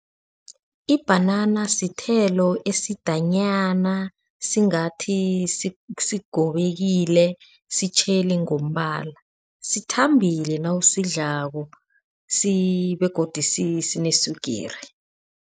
Ibhanana sithelo esidanyana singathi sigobekile sitjheli ngombala sithambile nawusidlako begodu sineswigiri.